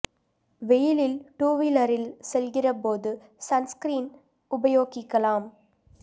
வெயிலில் டூ வீலரில் செல்கிற போது சன் ஸ்கிரீன் உபயோகிக்கலாம்